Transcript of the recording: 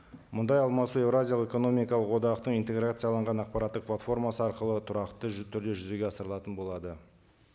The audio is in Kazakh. мұндай алмасу еуразиялық экономикалық одақтың интеграцияланған ақпараттық платформасы арқылы тұрақты түрде жүзеге асырылатын болады